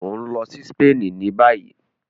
O n lọ sí Spain ní bayi